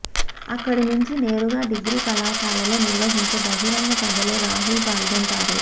అక్కడి నుంచి నేరుగా డిగ్రీ కళాశాలలో నిర్వహించే బహిరంగ సభలో రాహుల్ పాల్గొంటారు